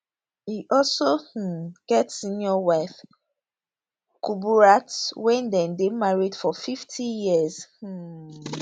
e also um get senior wife kuburat wey dem dey married for 50 years um